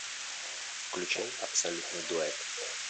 включай абсолютный дуэт